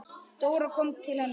Dóra kom til hennar.